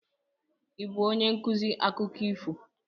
Ị bụ onye nkuzi akụkọ ifo?